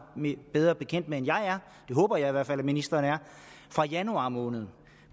bedre bekendt med end jeg er det håber jeg i hvert fald at ministeren er fra januar måned